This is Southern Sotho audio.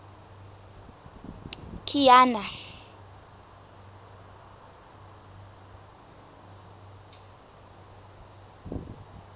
kiana